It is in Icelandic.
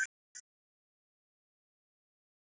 Þú hlýtur að græða á tá og fingri!